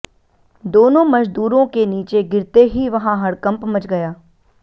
दोनों मजदूरों के नीचे गिरते ही वहां हड़कम्प मच गया